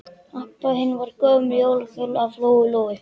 Abba hin var í gömlum jólakjól af Lóu Lóu.